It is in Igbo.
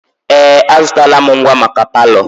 Ee! Azụtala m ngwa maka palọ.